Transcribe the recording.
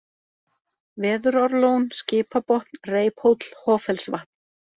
Veðurárlón, Skipabotn, Reiphóll, Hoffellsvatn